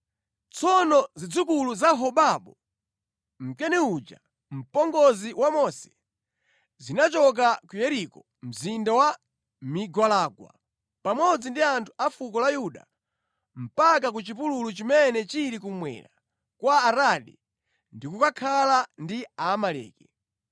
Tsono zidzukulu za Hobabu, Mkeni uja, mpongozi wa Mose, zinachoka ku Yeriko mzinda wa migwalangwa pamodzi ndi anthu a fuko la Yuda mpaka ku chipululu chimene chili kummwera kwa Aradi ndi kukakhala ndi Aamaleki.